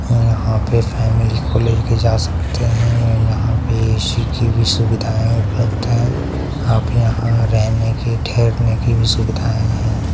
और यहां पे फैमिली को ले के जा सकते है यहां पे ए_सी की भी सुविधा उपलब्ध है आप यहां पे रहने के ठहरने के सुविधाएं है।